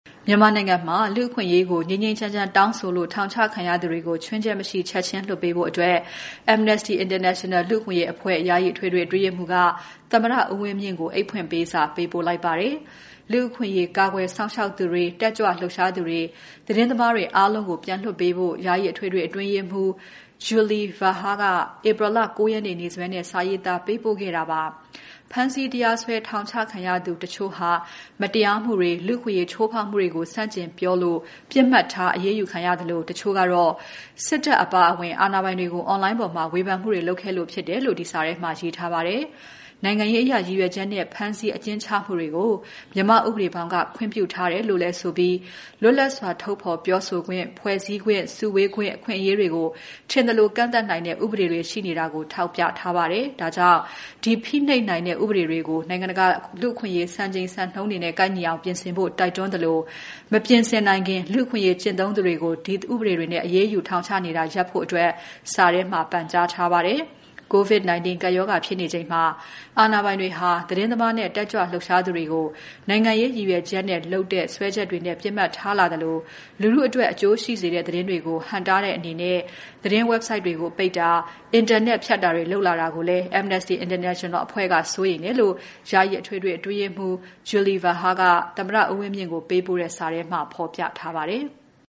မြန်မာနိုင်ငံမှာ လူ့အခွင့်အရေးကို ငြိမ်းငြိမ်းချမ်းချမ်းတောင်းဆိုလို့ ထောင်ချခံရသူတွေကို ခြွင်းချက်မရှိ ချက်ချင်းလွှတ်ပေးဖို့ Amnesty International လူ့အခွင့်အရေးအဖွဲ့ ယာယီအထွေထွေ အတွင်းရေးမှူးက သမ္မတဦးဝင်းမြင့်ကို အိတ်ဖွင့်ပေးစာ ပေးပို့ပြီး တိုက်တွန်းလိုက်ပါတယ်။ လူ့အခွင့်အရေးကာကွယ် စောင့်ရှောက်သူတွေ၊ တက်ကြွလှုပ်ရှားသူတွေ သတင်းသမားတွေအားလုံးကို ပြန်လွှတ်ပေးဖို့ ယာယီအထွေထွေ အတွင်းရေးမှူး Julie Verhaar က ဧပြီ ၉ ရက်နေ့ နေ့စွဲနဲ့ စာရေးသားပေးပို့ခဲ့ပါတယ်။ ဖမ်းဆီး တရားစွဲ ထောင်ချခံရသူ တချို့ဟာ မတရားမှုတွေ၊ လူ့အခွင့်အရေးချိုးဖောက်မှုတွေကို ဆန့်ကျင်ပြောလို့ ပစ်မှတ်ထား အရေးယူခံရသလို တချို့ကတော့ စစ်တပ်အပါအဝင် အာဏာပိုင်တွေကို Online ပေါ်မှာ ဝေဖန်မှုတွေလုပ်ခဲ့လို့ဖြစ်တယ်လို့ စာထဲမှာရေးသားထားပါတယ်။ နိုင်ငံရေးအရ ရည်ရွယ်ချက်နဲ့ ဖမ်းဆီး အကျဉ်းချမှုတွေကို မြန်မာ့ဥပဒေဘောင်က ခွင့်ပြုထားတယ်လို့လည်းဆိုပြီး လွတ်လပ်စွာ ထုတ်ဖော်ပြောဆိုခွင့်၊ ဖွဲစည်းခွင့်၊ စုဝေးခွင့် အခွင့်အရေးတွေကို ထင်သလို ကန့်သတ်နိုင်တဲ့ ဥပဒေတွေ ရှိနေတာကို ထောက်ပြထားပါတယ်။ ဒါကြောင့် ဒီဖိနှိပ်တဲ့ ဥပေးတွေကို နိုင်ငံတကာလူ့အခွင့်အရေး စံနှုန်းတွေနဲ့ ကိုက်ညီအောင် ပြင်ဆင်ဖို့ တိုက်တွန်းသလို၊ မပြင်ဆင်နိုင်ခင် လူ့အခွင့်အရေးကျင့်သုံးသူတွေကို ဒီဥပဒေတွေနဲ့ အရေးယူ ထောင်ချနေတာ ရပ်ဖို့ စာထဲမှာ ပန်ကြားထားပါတယ်။ COVID-19 ကပ်ရောဂါဖြစ်နေချိန်မှာ အာဏာပိုင်တွေဟာ သတင်းသမားနဲ့ တက်ကြွလှုပ်ရှားသူတွေကို နိုင်ငံရေးရည်ရွယ်ချက်နဲ့လုပ်တဲ့ စွဲချက်တွေနဲ့ ပစ်မှတ်ထားလာသလို၊ လူထုအတွက် အကျိုးရှိစေတဲ့သတင်းတွေကို ဟန့်တားတဲ့အနေနဲ့ သတင်း Website တွေကို ပိတ်တာ၊ အင်တာနက်ဖြတ်တာတွေ လုပ်နေတာကိုလည်း Amnesty International အဖွဲက စိုးရိမ်တယ်လို့ ယာယီအထွေထွေ အတွင်းရေးမှူး Julie Verhaar က သမ္မတဦးဝင်းမြင့်ကို ပေးပို့တဲ့ စာထဲမှာ ဖော်ပြထားပါတယ်။